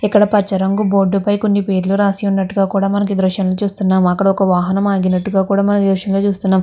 ఇక్కడ పచ్చ రంగు బోర్డు పైన కొన్ని పేర్లు రాసి ఉన్నట్టు మనం ఈ దృశ్యం లో చుస్తునాం అక్కడ ఒక వాహనం ఆగిననట్టు మనం ఈ దృశ్యం లో చూస్తున్నాము.